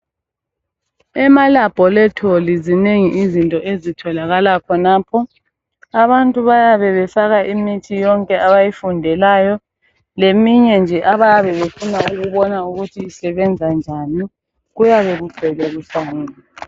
ema laboratory zinengi izinto ezitholakala khona abantu bayabe befaka imithi yonke abayifundelayo leminye nje abayabe befuna ukubona ukuthi isebenzanjani kuyabe kugcwele kuhlanganisiwe